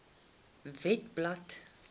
webblad